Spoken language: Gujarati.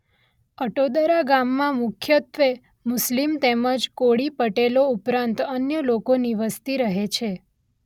અટોદરા ગામમાં મુખ્યત્વે મુસ્લીમ તેમજ કોળી પટેલો ઉપરાંત અન્ય લોકોની વસ્તી રહે છે.